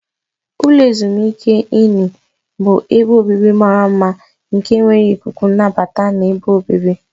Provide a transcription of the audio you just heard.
Ulo ezimuike Inni bụ ebe obibi mara mma nke nwere ikuku nnabata na ebe obibi.